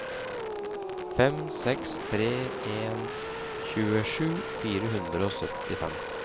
fem seks tre en tjuesju fire hundre og syttifem